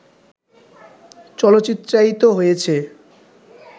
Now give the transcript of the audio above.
চলচ্চিত্রায়িত হয়েছে